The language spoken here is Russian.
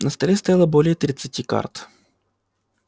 на столе стояло более тридцати карт